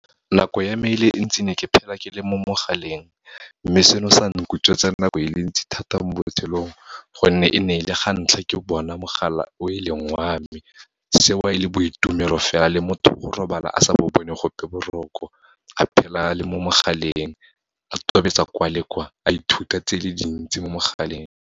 Nako ya me e le ntsi ne ke phela ke le mo mogaleng, mme seno sa nkutswetsa nako e le ntsi thata mo botshelong, gonne e ne e le gantlha ke bona mogala o e leng wa me. Seo e le boitumelo fela, le motho go robala a sa bo bone gope boroko, a phela a le mo mogaleng, a tobetsa kwa le kwa, a ithuta tse le dintsi mo mogaleng.